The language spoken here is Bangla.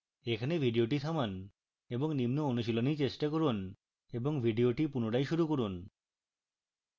এখানে video থামান এবং নিম্ন অনুশীলনী চেষ্টা করুন এবং video পুনরায় শুরু করুন